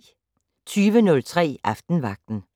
20:03: Aftenvagten